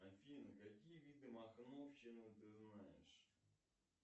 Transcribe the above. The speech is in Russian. афина какие виды махновщины ты знаешь